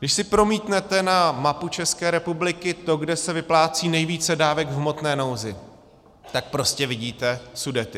Když si promítnete na mapu České republiky, to, kde se vyplácí nejvíce dávek v hmotné nouzi, tak prostě vidíte Sudety.